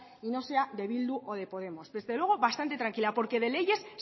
y no sea de bildu o de podemos pero desde luego bastante tranquila porque de leyes